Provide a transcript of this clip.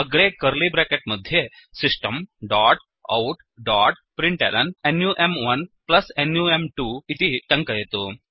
अग्रे कर्लिब्रेकेट् मध्ये system dot out dot println num1नुं2 िति टङ्कयतु